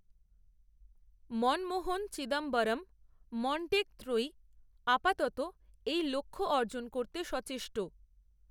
মনমোহন চিদম্বরম, মন্টেক ত্রয়ী, আপাতত, এই লক্ষ্য অর্জন করতে সচেষ্ট